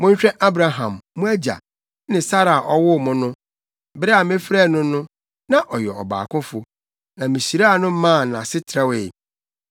Monhwɛ Abraham, mo agya, ne Sara a ɔwoo mo no. Bere a mefrɛɛ no no, na ɔyɛ ɔbaakofo, na mihyiraa no maa nʼase trɛwee.